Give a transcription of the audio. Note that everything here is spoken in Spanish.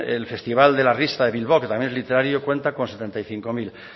el festival de la risa de bilbao que también es literario cuenta con setenta y cinco mil